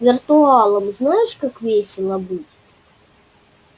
виртуалом знаешь как весело быть